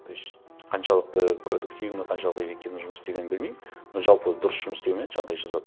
то есть қаншалықты продуктивно қаншалықты эффективно жұмыс істегенімді білмеймін но жалпы дұрыс жұмыс істеуіме жағдай жасады